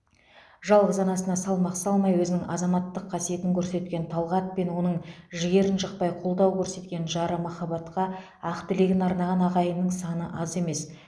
жалғыз анасына салмақ салмай өзінің азаматтық қасиетін көрсеткен талғат пен оның жігерін жықпай қолдау көрсеткен жары махаббатқа ақ тілегін арнаған ағайынның саны аз емес